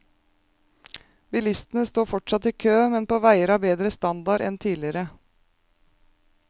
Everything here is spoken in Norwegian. Bilistene står fortsatt i kø, men på veier av bedre standard enn tidligere.